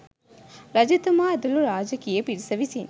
රජතුමා ඇතුළු රාජකීය පිරිස විසින්